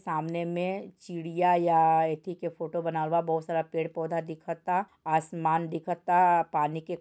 सामने मे चिड़िया या इति येथी के फोटो बना हुआ बोहोत सर पेड़ पोधा दीखता आसमान दिखता पानी के--